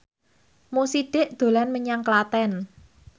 Mo Sidik dolan menyang Klaten